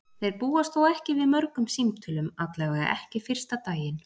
Þeir búast þó ekki við mörgum símtölum, allavega ekki fyrsta daginn.